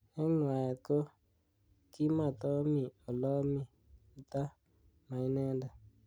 Eng nwaet ko kimatomi olami ta mai inendet.